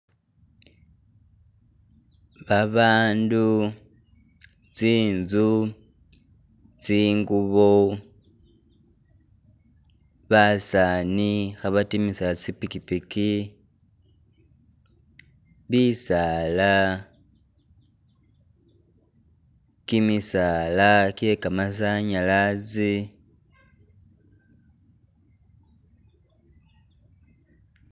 Babandu, tsinzu tsingubo basani khabadimisa zipikipiki bisaala gimisaala gye gamasanyalaze